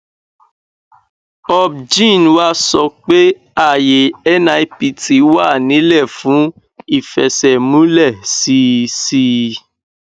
obgyn wa sọ pé ààyè nipt wà ńílẹ fún ìfẹsẹmúlẹ sí sí i